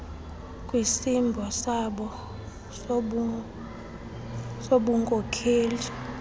kwisimbo sabo sobunmkokeli